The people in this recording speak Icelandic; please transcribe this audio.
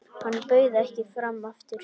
Hann bauð ekki fram aftur.